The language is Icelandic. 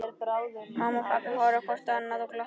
Mamma og pabbi horfa hvort á annað og glotta.